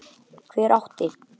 Hver átti?